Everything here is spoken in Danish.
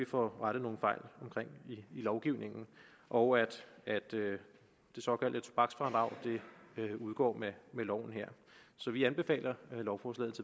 får rettet nogle fejl i lovgivningen og at det såkaldte tobaksfradrag udgår med loven her så vi anbefaler lovforslaget